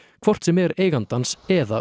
hvort sem er eigandans eða